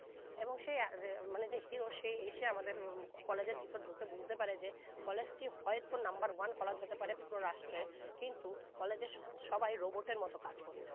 এবং সে যে মানে hero সে এসে আমাদের college এর ভিতর বুঝতে পারে যে college টি হয়তো নাম্বার one college হতে পারে পুরো রাষ্ট্রের কিন্তু college এর সবাই robot এর মত কাজ করছে